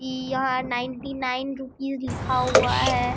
इ यहाँ ninety nine rupees लिखा हुआ है।